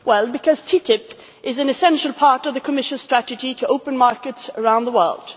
Because TTIP is an essential part of the Commission's strategy to open markets around the world.